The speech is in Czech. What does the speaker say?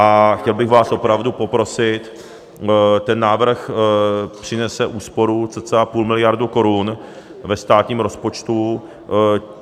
A chtěl bych vás opravdu poprosit, ten návrh přinese úsporu cca půl miliardy korun ve státním rozpočtu.